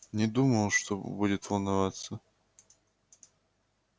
не думал что будет волноваться